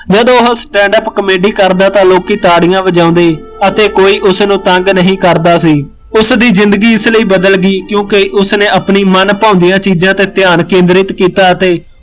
ਜਦ ਉਹ standup comedy ਕਰਦਾ ਤਾਂ ਲੋਕੀਂ ਤਾੜੀਆ ਵਜਾਉਂਦੇ, ਅਤੇ ਕੋਈ ਉਸਨੂੰ ਤੰਗ ਨਹੀਂ ਕਰਦਾ ਸੀ, ਉਸਦੀ ਜ਼ਿੰਦਗੀ ਇਸ ਲਈ ਬਦਲ ਗਈ ਕਿਓਕਿ ਉਸਨੇ ਆਪਨੀ ਮਨ ਭਾਉਂਦੀ ਚੀਜ਼ਾ ਤੇ ਧਿਆਨ ਕੇਂਦਰਿਤ ਕੀਤਾ ਅਤੇ